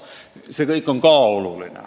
See kõik on ka oluline.